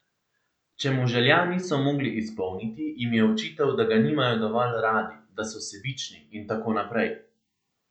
Če mu želja niso mogli izpolniti, jim je očital, da ga nimajo dovolj radi, da so sebični, in tako naprej.